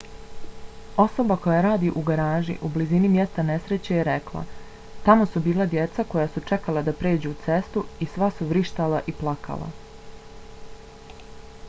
osoba koja radi u garaži u blizini mjesta nesreće je rekla: tamo su bila djeca koja su čekala da pređu cestu i sva su vrištala i plakala.